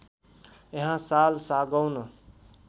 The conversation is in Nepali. यहाँ साल सागौन